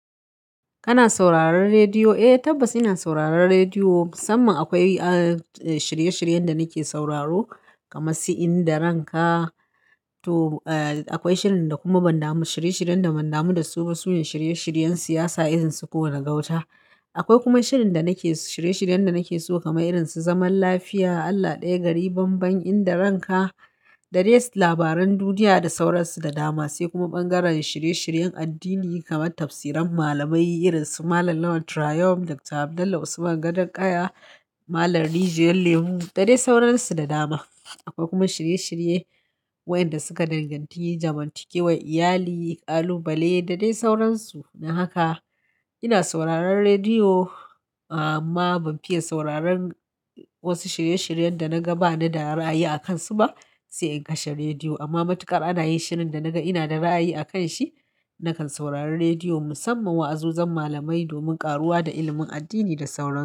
Kana sauraron rediyo? Eh tabbas ina sauraron rediyo, musamman akwai a shirye-shiryen da nake sauraro kamar Si'in da Ranka. To akwai shirin da kuma ban damu da shirye-shiryen da ban damu da su ba. Sune shirye-shiryen siyasa irin su Kowa da Gauta. Akwai kuma shirin da nake shirye-shiryen da nake so kamar irin su Zaman Lafiya, Allah ɗaya gari banban, Inda Ranka, da dai labaran duniya da sauransu da dama. Sai kuma bangaren shirye-shiryen addini kamar tafsiran malamai irin su Malam Lawan Trayum, Dr. Abdullah Usman Gadon Kaya, Malam Rijiyar Lemu da dai sauransu da dama. Akwai kuma shirye-shirye waɗanda suka danganci zamantakewar iyali, ƙalubale da dai sauransu. Don haka ina sauraron rediyo amma ban fiye sauraron wasu shirye-shiryen da naga ba ni da ra'ayi a kansu ba sai in kashe rediyo. Amma matuƙa ana yin shirin da naga ina da ra'ayi a kanshi, nakan saurari rediyo musamman wa'azozzin malamai domin ƙaruwa da ilimin addini da sauran su.